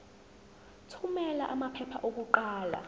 thumela amaphepha okuqala